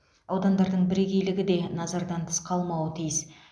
аудандардың бірегейлігі де назардан тыс қалмауы тиіс